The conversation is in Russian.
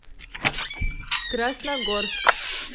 красногорск